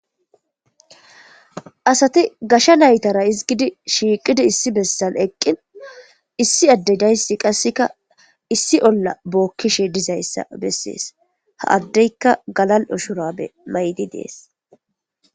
Asati gashe naytara hisgidi issi shiqidi bottan eqin issi addezi qaseka olla bokishe des he adezika galal'o shurabe mayidi des.